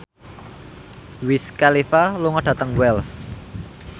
Wiz Khalifa lunga dhateng Wells